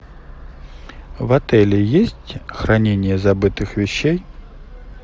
в отеле есть хранение забытых вещей